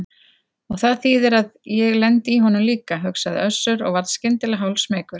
Og það þýðir að ég lendi í honum líka, hugsaði Össur og varð skyndilega hálfsmeykur.